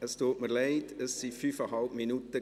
Es tut mir leid, es waren fünfeinhalb Minuten.